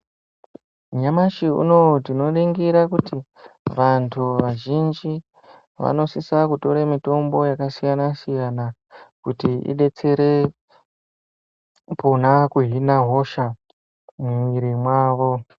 Nyamashi unowu tinoningira kuti vanthu vazhinji vanosisa kutore mitombo yakasiyana- siyana kuti idetsere kona kuhina hosha mumwiri mwavo.